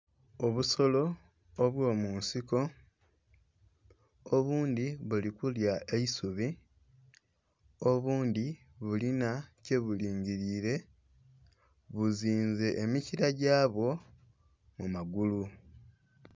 Obusolo obwo munsiko, obundhi buli kulya eisubi, obundhi bulinha kye bulingilile buzinze emikila gyabwo mu magulu.